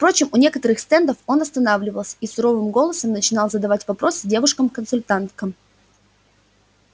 впрочем у некоторых стендов он останавливался и суровым голосом начинал задавать вопросы девушкам-консультанткам